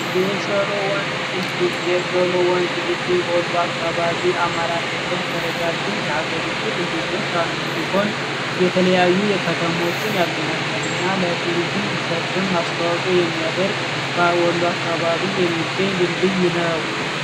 አማራ ክልል ከረጃጅም የሀገሪቱን ይሆን የተለያዩ የከተሞችን ያገናኛልና ለቱሪዝም ማስታወቱ የሚያደርግ ባይ ወሎ አካባቢ የሚገኝ ድልድይ ነው